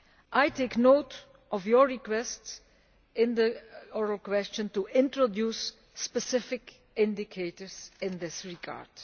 I take note of your request in the oral question to introduce specific indicators in this regard.